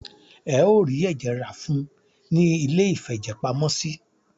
Ẹ o rí ẹ̀jẹ̀ rá fún ùn ní iléìfẹ̀jẹ̀pamọ́sí.